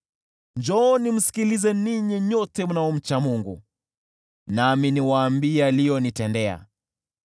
Njooni msikilize ninyi nyote mnaomcha Mungu, nami niwaambie aliyonitendea.